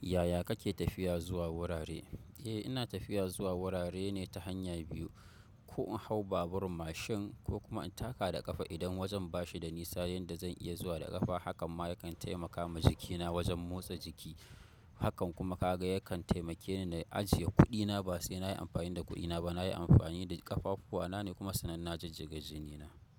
Yaya kake tafiya zuwa wurare? Eh ina tafiya zuwa wurare ne ta hanya biyu, ko in hau babur mashin ko kuma in taka da ƙafa idan wajen bashi da nisa yanda zan iya zuwa da ƙafa. Hakan ma yankan taimakama jikina wajan motsa jiki. Hakan kuma kaga yakan taimake ni na ajiye kuɗina. Ba sai na yi amfani da kuɗina ba. Na yi amfani da ƙafafuwana ne kuma sanan na jijjiga jini na.